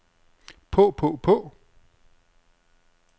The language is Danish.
på på på